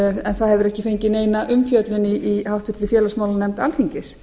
en það hefur ekki fengið neina umfjöllun í háttvirtri félagsmálanefnd alþingis